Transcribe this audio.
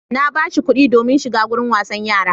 Na ba shi kuɗi domin shiga wurin wasan yara.